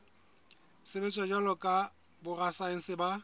sebetsa jwalo ka borasaense ba